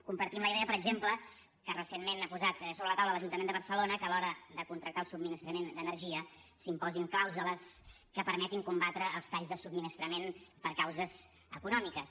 compartim la idea per exemple que recentment ha posat sobre la taula l’ajuntament de barcelona que a l’hora de contractar el subministrament d’energia s’imposin clàusules que permetin combatre els talls de subministrament per causes econòmiques